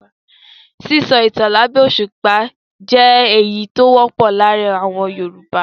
Sísọ ìtan lábẹ́ òṣùpá jẹ́ èyí tó wọ́pọ̀ láàárin àwọn Yorùbá.